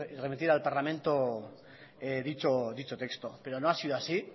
al parlamento dicho texto pero no ha sido así